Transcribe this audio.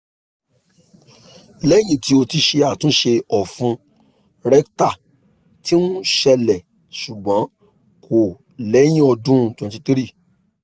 lẹhin ti o ti ṣe atunṣe ọfun rectal ti n ṣẹlẹ ṣugbọn ko lẹhin ọdun 23